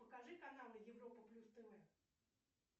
покажи каналы европа плюс тв